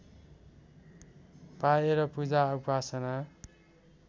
पाएर पूजा उपासना